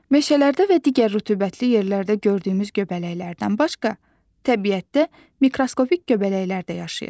Meşələrdə və digər rütubətli yerlərdə gördüyümüz göbələklərdən başqa, təbiətdə mikroskopik göbələklər də yaşayır.